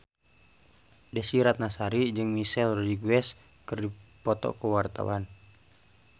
Desy Ratnasari jeung Michelle Rodriguez keur dipoto ku wartawan